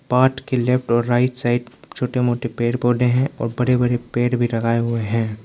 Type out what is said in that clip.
Part के left और right side छोटे मोटे पेड़ पौधे हैं और बड़े बड़े पेड़ भी लगाए हुए हैं।